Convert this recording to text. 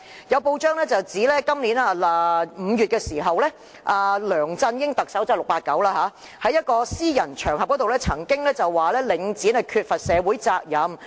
有報道指今年5月，特首梁振英——即 "689"—— 曾在一個私人場合中表示領展缺乏社會責任。